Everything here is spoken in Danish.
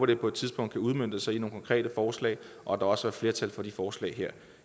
det på et tidspunkt kan udmønte sig i nogle konkrete forslag og at der også er flertal for de forslag her